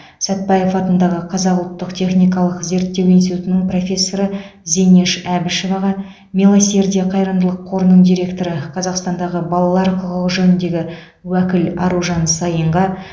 сәтпаев атындағы қазақ ұлттық техникалық зерттеу институтының профессоры зинеш әбішеваға милосердие қайырымдылық қорының директоры қазақстандағы балалар құқығы жөніндегі уәкіл аружан саинға